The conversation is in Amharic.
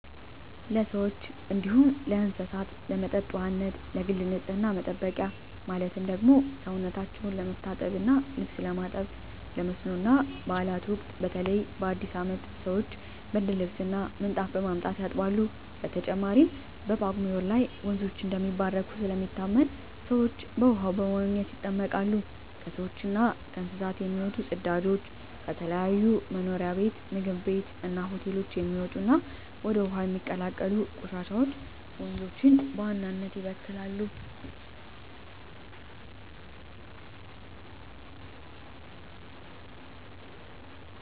ለሰዎች እንዲሁም ለእስሳት ለመጠጥ ውሃነት፣ ለግል ንፅህና መጠበቂያ ማለትም ሰውነታቸው ለመታጠብ እና ልብስ ለማጠብ፣ ለመስኖ እና ባእላት ወቅት በተለይ በአዲስ አመት ሰወች ብርድልብስ እና ምንጣፍ በማምጣት ያጥባሉ። በተጨማሪም በጳጉሜ ወር ላይ ወንዞች እንደሚባረኩ ስለሚታመን ሰወች በውሃው በመዋኘት ይጠመቃሉ። ከሰውች እና ከእንስሳት የሚወጡ ፅዳጆች፣ ከተለያዩ መኖሪያ ቤት ምግብ ቤት እና ሆቴሎች የሚወጡ እና ወደ ውሀው የሚቀላቀሉ ቆሻሻወች ወንዞችን በዋናነት ይበክላሉ።